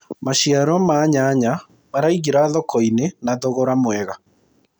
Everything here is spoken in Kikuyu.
maciaro ma nyanya maraingira thoko-inĩ na thogora mwega